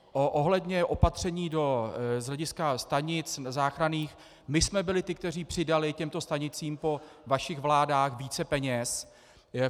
Ohledně opatření z hlediska stanic záchranných, my jsme byli ti, kteří přidali těmto stanicím po vašich vládách více peněz.